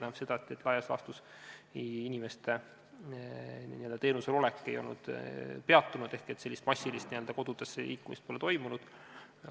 See tähendab seda, et laias laastus inimeste teenusel olek ei ole peatunud ehk sellist massilist kodudesse liikumist pole toimunud.